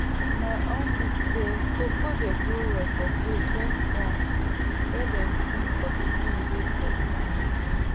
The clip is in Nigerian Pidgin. my uncle say cocoa dey grow well for place where song wey dem dey sing for pikin dey for evening